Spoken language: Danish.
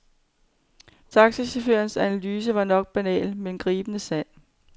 Taxachaufførens analyse var nok banal, men gribende sand.